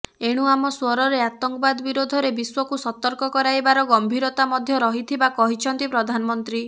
ଏଣୁ ଆମ ଶ୍ୱରରେ ଆତଙ୍କବାଦ ବିରୋଧରେ ବିଶ୍ୱକୁ ସତର୍କ କରାଇବାର ଗମ୍ଭିରତା ମଧ୍ୟ ରହିଥିବା କହିଛନ୍ତି ପ୍ରଧାନମନ୍ତ୍ରୀ